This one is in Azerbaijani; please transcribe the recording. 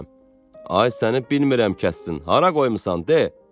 Ay səni bilmirəm kəssin, hara qoymusan de.